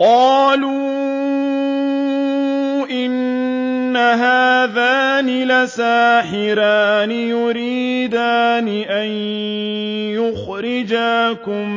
قَالُوا إِنْ هَٰذَانِ لَسَاحِرَانِ يُرِيدَانِ أَن يُخْرِجَاكُم